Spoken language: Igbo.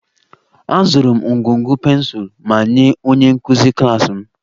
Azụrụ m ngwugwu pensụl ma nye onye nkụzi klas m